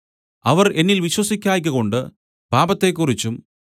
അവർ എന്നിൽ വിശ്വസിക്കായ്കകൊണ്ട് പാപത്തെക്കുറിച്ചും